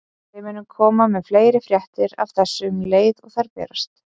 Við munum koma með fleiri fréttir af þessu um leið og þær berast.